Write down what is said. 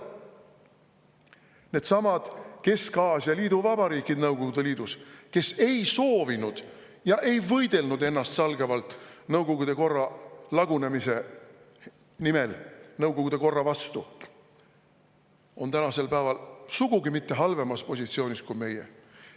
Needsamad Kesk-Aasia liiduvabariigid Nõukogude Liidus, kes ei soovinud ja ei võidelnud ennastsalgavalt nõukogude korra lagunemise nimel, nõukogude korra vastu, on tänasel päeval sugugi mitte halvemas positsioonis kui meie.